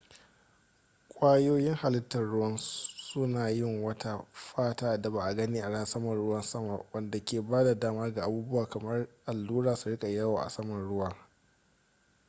kwayoyin halittar ruwan suna yin wata fata da ba a gani a saman ruwa wadde ke ba da dama ga abubuwa kamar allura su riƙa yawo a saman ruwa